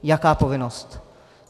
Jaká povinnost?